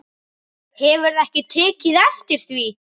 Hefurðu ekki tekið eftir því?